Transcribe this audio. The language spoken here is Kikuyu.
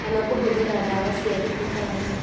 Kana kũhũthĩra ndawa cia thibitarĩ